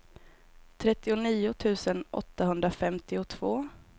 trettionio tusen åttahundrafemtiotvå